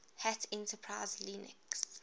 hat enterprise linux